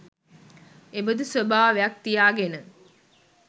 එබඳු ස්වභාවයක් තියාගෙන,